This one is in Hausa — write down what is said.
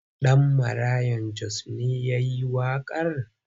Ɗan Maraya Jos ne ya yi waƙar?